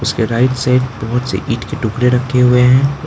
उसके right side बहोत से ईट के टुकड़े रखे हुए हैं।